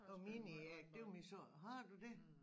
Og meningen er det var min så har du det?